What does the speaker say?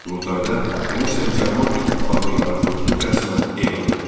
Qurultayda Rusiya müsəlman İttifaqı yaradıldığı rəsmən elan edildi.